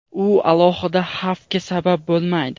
u alohida xavfga sabab bo‘lmaydi.